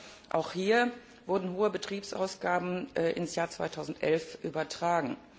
Aber auch hier wurden hohe Betriebsausgaben ins Jahr 2011 übertragen.